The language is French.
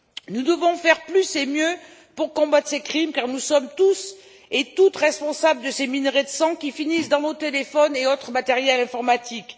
Nous devons faire plus et mieux pour combattre ces crimes car nous sommes tous et toutes responsables de ces minerais de sang qui finissent dans nos téléphones et autres matériels informatiques.